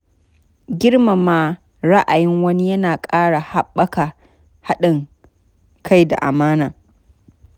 Girmama ra'ayin wani yana ƙara haɓaka haɗin kai da amana.